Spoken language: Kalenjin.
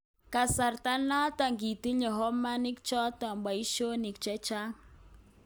kasarta noto kitinye homoniik choto boisyonik chechaang